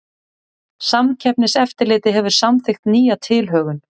Samkeppniseftirlitið hefur samþykkt nýja tilhögun